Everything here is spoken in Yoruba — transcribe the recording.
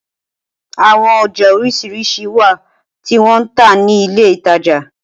Awọn ọja oriṣiriṣi wa ti wọn n ta ni ile itaja